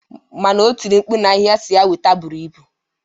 Mana otiri mkpu na ihe asiri ya weta buru ibu.